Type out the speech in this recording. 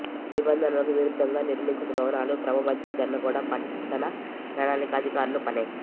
నిబంధనలకు విరుద్ధంగా నిర్మించిన భవనాల క్రమబద్ధీకరణ కూడా పట్టణ ప్రణాళిక అధికారుల పనే